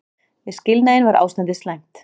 Við skilnaðinn var ástandið slæmt.